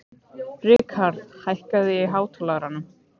Rikharð, hækkaðu í hátalaranum.